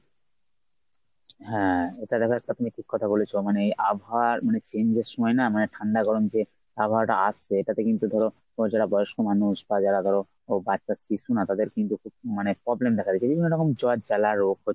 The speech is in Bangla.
হ্যাঁ এটা দেখ একটা তুমি ঠিক কথা বলেছো। মানে আবহাওয়া change এর সময় না মানে ঠান্ডা গরম যে আবহাওয়াটা আসছে তাতে কিন্তু ধর তোমরা যারা বয়স্ক মানুষ বা যারা ধর বাচ্চা শিশু না তাদের কিন্তু মানে problem দেখা দিচে এজন্য এরকম জ্বর জ্বালা রোগ হচ্ছে।